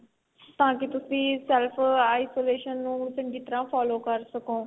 ਤਾਂ ਕੀ ਤੁਸੀਂ self isolation ਨੂੰ ਚੰਗੀ ਤਰ੍ਹਾਂ follow ਕ਼ਰ ਸਕੋਂ.